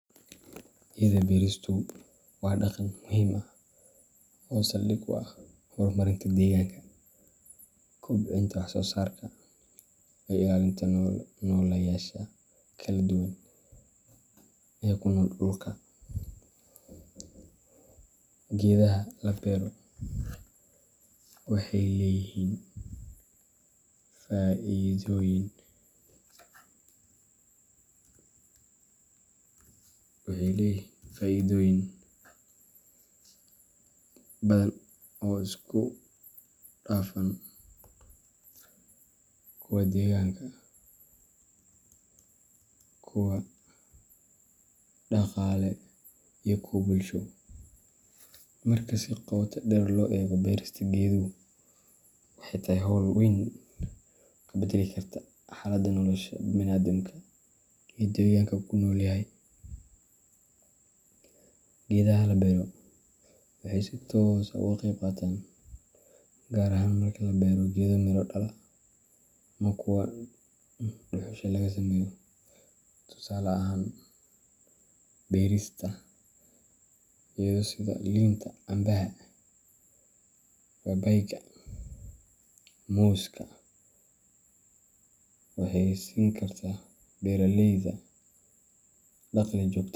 Geda beeristu waa dhaqan muhiim ah oo saldhig u ah horumarinta deegaanka, kobcinta wax soo saarka, iyo ilaalinta nooleyaasha kala duwan ee ku nool dhulka. Geedaha la beero waxay leeyihiin faa’iidooyin badan oo isku dhafan: kuwo deegaanka ah, kuwo dhaqaale, iyo kuwo bulsho. Marka si qoto dheer loo eego, beerista geeduhu waxay tahay hawl wax weyn ka beddeli karta xaaladda nolosha bani’aadamka iyo deegaanka uu ku nool yahay. Geedaha la beero waxay si toos ah uga qayb qaataan , gaar ahaan marka la beero geedo miro dhala ama kuwa dhuxusha laga sameeyo. Tusaale ahaan, beerista geedo sida liinta, cambaha, babaayga, muuska waxay siin kartaa beeralayda dakhli joogta.